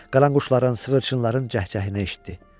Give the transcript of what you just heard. Qaranquşların, sığırçınların cəh-cəhinə eşitdi.